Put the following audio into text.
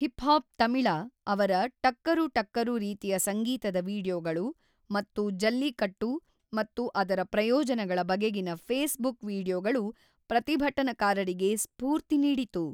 Hip hop ತಮಿಳ ಅವರ ಟಕ್ಕರು ಟಕ್ಕರು ರೀತಿಯ ಸಂಗೀತದ ವೀಡಿಯೊಗಳು ಮತ್ತು ಜಲ್ಲಿಕಟ್ಟು ಮತ್ತು ಅದರ ಪ್ರಯೋಜನಗಳ ಬಗೆಗಿನ ಫೇಸ್‌ಬುಕ್ ವೀಡಿಯೊಗಳು ಪ್ರತಿಭಟನಕಾರರಿಗೆ ಸ್ಫೂರ್ತಿ ನೀಡಿತು.